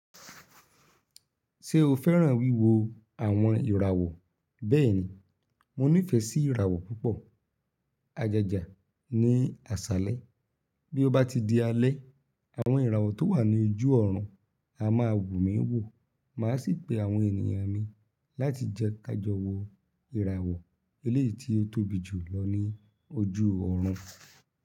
Ṣé o fẹ́ràn wíwo àwọn ìràwọ̀? Bẹ́ẹ̀ni, mo nífẹ̀ẹ́ sí ìràwọ̀ púpọ̀. Àjàjà ni àsálẹ́. Bí ó bá ti di alẹ́, àwọn ìràwọ̀ tó wà ní ojú ọ̀run a máa wù mí wò. Màá sì pe àwọn ènìyàn mi láti jẹ ká jọ wò ìràwọ̀ eléyìí tí ó tóbi jù lọ ní ojú ọ̀run.